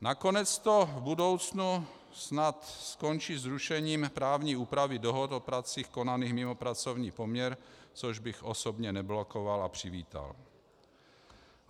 Nakonec to v budoucnu snad skončí zrušením právní úpravy dohod o pracích konaných mimo pracovní poměr, což bych osobně neblokoval a přivítal.